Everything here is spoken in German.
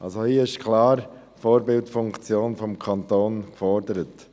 Hier ist klar eine Vorbildfunktion vom Kanton gefordert.